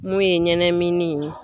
Mun ye ɲɛnɛmini.